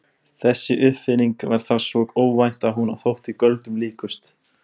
Þessi uppfinning var þá svo óvænt að hún þótti göldrum líkust.